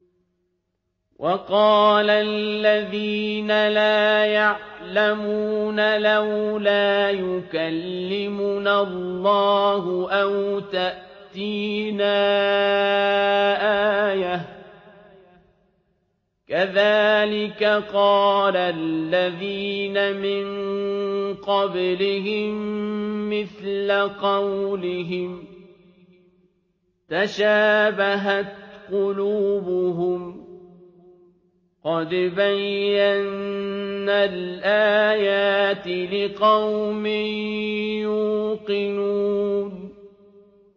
وَقَالَ الَّذِينَ لَا يَعْلَمُونَ لَوْلَا يُكَلِّمُنَا اللَّهُ أَوْ تَأْتِينَا آيَةٌ ۗ كَذَٰلِكَ قَالَ الَّذِينَ مِن قَبْلِهِم مِّثْلَ قَوْلِهِمْ ۘ تَشَابَهَتْ قُلُوبُهُمْ ۗ قَدْ بَيَّنَّا الْآيَاتِ لِقَوْمٍ يُوقِنُونَ